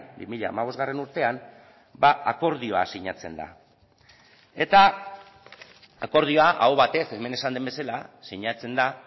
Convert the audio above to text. bi mila hamabost urtean akordioa sinatzen da eta akordioa aho batez hemen esan den bezala sinatzen da